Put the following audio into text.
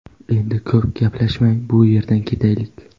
Endi ko‘p gaplashmay bu yerdan ketaylik.